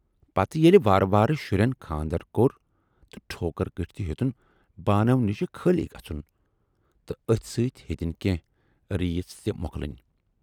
پتہٕ ییلہِ وارٕ وارٕ شُرٮ۪ن خاندر کوٚر تہٕ ٹھوکُر کُٹھ تہِ ہیوتُن بانو نِشہٕ خٲلۍ گژھُن تہٕ ٲتھۍ سۭتۍ ہیتٕنۍ کینہہ ریٖژ تہِ مۅکلٕنۍ۔